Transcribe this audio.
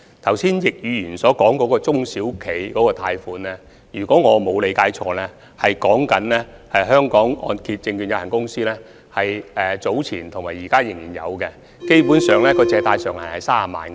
剛才易議員所說有關中小企的貸款計劃，如果我沒有理解錯，是指香港按揭證券有限公司早前及現時仍然提供的貸款計劃。